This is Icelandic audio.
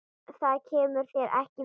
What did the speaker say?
Það kemur þér ekki við.